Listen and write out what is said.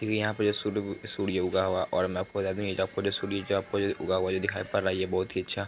देखिये यहाँ पे सुद सूर्य ऊगा हुआ और मैं आपको बता दूँ इ जो सूर्य ऊगा हुआ आपको जो दिखाई पड़ रहा है ये बहुत ही अच्छा --